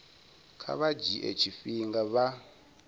kha vha dzhie tshifhinga vha